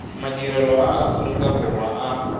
madirelo a aorika borwa a